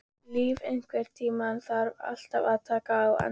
Líf, einhvern tímann þarf allt að taka enda.